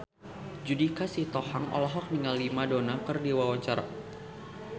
Judika Sitohang olohok ningali Madonna keur diwawancara